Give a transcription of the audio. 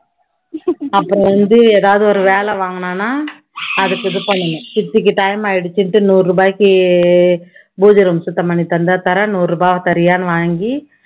அப்பறம் வந்து எதாவது வேலை வாங்குனேன்னா அதுக்கு இது பண்ணணும். சித்திக்கு time ஆய்டுச்சுன்னுட்டு நூறு ரூபாய்க்கு பூஜை சுத்தம் பண்ணி தந்தா தர்றேன், நூறு ரூபாய் தர்றியான்னு வாங்கி